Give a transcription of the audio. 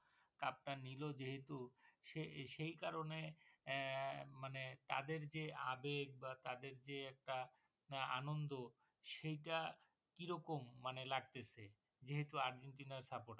cup টা নিলো যেহুতু সে সেই কারণে এর মানে তাদের যে আবেগ বা তাদের যে একটা নয় আনন্দ সেইটা কিরকম মানে লাগতেছে যেহুতু আর্জেন্টিনা supporter